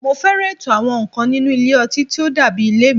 Mo fẹ́ràn ètò àwọn nǹkan nínú ilé ọtí tí ó dàbí ilé mi